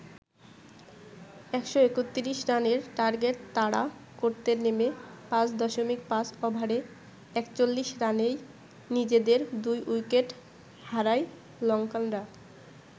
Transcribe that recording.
১৩১ রানের টার্গেট তাড়া করতে নেমে ৫.৫ ওভারে ৪১ রানেই নিজেদের দুই উইকেট হারায় লঙ্কানরা।